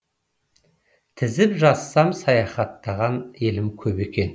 тізіп жазсам саяхаттаған елім көп екен